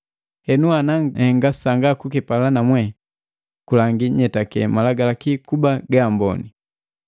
Henu, ana nihenga sanga kukipala namwe, kulangi nyetake Malagalaki kuba ga amboni.